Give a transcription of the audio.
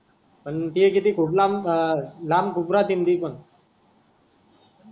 पण ते किती खूप लांब अ लांब खूप राहते ती पण ,